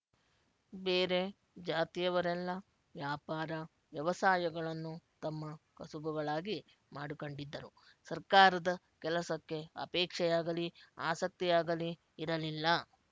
ಬೇರೆ ಜಾತಿಯವರೆಲ್ಲ ವ್ಯಾಪಾರ ವ್ಯವಸಾಯಗಳನ್ನು ತಮ್ಮ ಕಸುಬುಗಳಾಗಿ ಮಾಡಿಕೊಂಡಿದ್ದರು ಸರ್ಕಾರದ ಕೆಲಸಕ್ಕೆ ಅಪೇಕ್ಷೆಯಾಗಲಿ ಆಸಕ್ತಿಯಾಗಲಿ ಇರಲಿಲ್ಲ